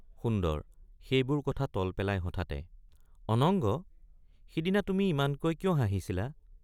সুন্দৰ— সেইবোৰ কথা তল পেলাই হঠাতে অনঙ্গ সিদিনা তুমি ইমানকৈ কিয় হাঁহিছিলা ?